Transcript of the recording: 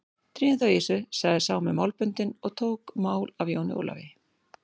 Drífum þá í þessu, sagði sá með málböndin og tók mál af Jóni Ólafi.